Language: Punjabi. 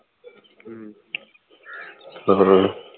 ਹਾਂ ਹਾਂ ਹਾਂ